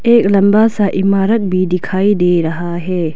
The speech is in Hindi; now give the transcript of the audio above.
एक लंबा सा इमारत भी दिखाई दे रहा है।